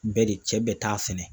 Bɛ de cɛ bɛ taa sɛnɛ.